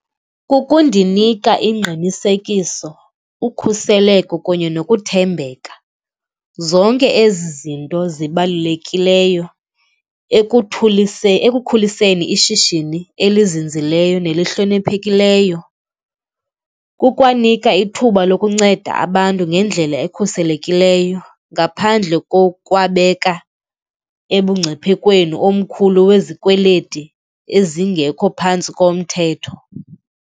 Kukundinika ingqinisekiso, ukhuseleko kunye nokuthembeka, zonke ezi zinto zibalulekileyo ekuthuliseni, ekukhuliseni ishishini elizinzileyo nelihloniphekileyo. Kukwanika ithuba lokunceda abantu ngendlela ekhuselekileyo ngaphandle kokwabeka ebungciphekweni omkhulu wezikweleti ezingekho phantsi komthetho.